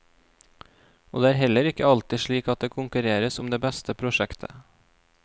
Og det er heller ikke alltid slik at det konkurreres om det beste prosjektet.